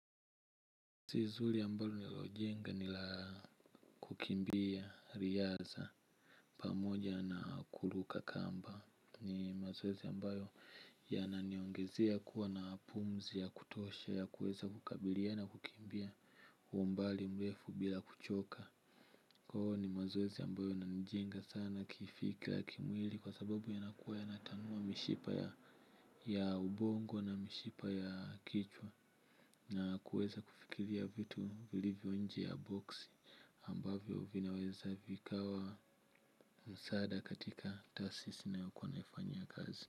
Zizi ambalo nalojenga nila kukimbia riaza pamoja na kuruka kamba. Ni mazoezi ambayo yananiongezea kuwa na pumzi ya kutosha ya kueza kukabiliana kukimbia uo mbali mrefu bila kuchoka. Koo ni mazoezi ambayo inanijenga sana kifika ya kimwili kwa sababu yanakuwa yanatanua mishipa ya ubongo na mishipa ya kichwa na kuweza kufikiria vitu vilivyo nje ya boxi ambavyo vinaweza vikawa msaada katika taasisi nayo kuwa naifanyia kazi.